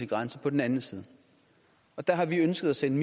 grænse på den anden side og der har vi ønsket at sende